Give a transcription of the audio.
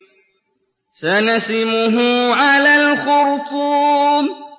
سَنَسِمُهُ عَلَى الْخُرْطُومِ